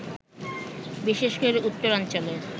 বিশেষ করে উত্তরাঞ্চলের